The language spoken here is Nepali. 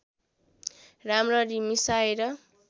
राम्ररी मिसाएर